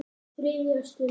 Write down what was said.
ÞRIÐJA STUND